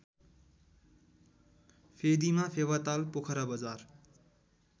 फेदीमा Phewatal Pokhara Bazar